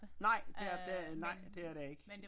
Nej det er det nej det er der ikke